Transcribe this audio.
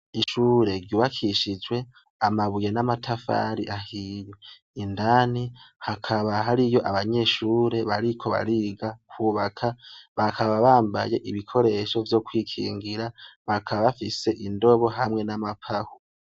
Ishure ryubakishijwe amabuye namatafari ahiye indani hakaba hariyo abanyeshure bariko bariga kubaka bakaba bambaye ibikoresho vyo kwikingira bakaba bafise indobo hamwe namapawa